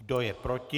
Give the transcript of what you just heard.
Kdo je proti?